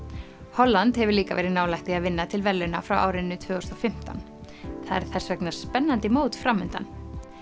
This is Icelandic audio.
Holland hefur líka verið nálægt því að vinna til verðlauna frá árinu tvö þúsund og fimmtán það er þess vegna spennandi mót fram undan